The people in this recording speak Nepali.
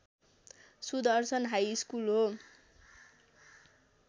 सुदर्शन हाइस्कुल हो